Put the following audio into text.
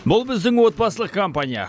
бұл біздің отбасылық компания